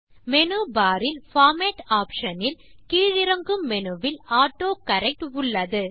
menu bar இல் format option இல் கீழிறங்கும் மெனுவில் ஆட்டோகரெக்ட் உள்ளது